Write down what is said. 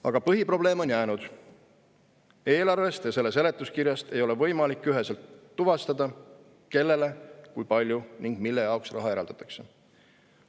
Aga põhiprobleem on jäänud: eelarvest ja selle seletuskirjast ei ole võimalik üheselt tuvastada, kellele, kui palju ja mille jaoks raha eraldatakse.